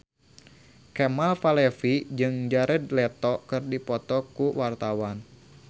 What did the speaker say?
Kemal Palevi jeung Jared Leto keur dipoto ku wartawan